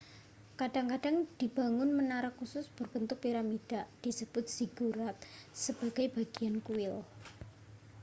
kadang-kadang dibangun menara khusus berbentuk piramida disebut ziggurat sebagai bagian kuil